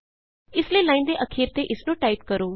ਇਸ ਲਈ ਲਾਈਨ ਦੇ ਅਖੀਰ ਤੇ ਇਸਨੂੰ ਟਾਈਪ ਕਰੋ